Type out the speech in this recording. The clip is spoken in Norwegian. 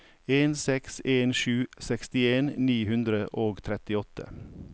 en seks en sju sekstien ni hundre og trettiåtte